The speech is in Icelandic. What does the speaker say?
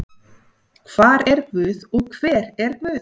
Hvar er guð og hver er guð?